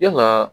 Yalaa